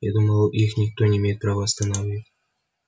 я думал их никто не имеет права остановить